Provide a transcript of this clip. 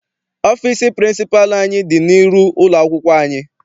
Ọfịịsi pịrịnsịpalụ anyị dị n'iru ụlọakwụkwọ anyị.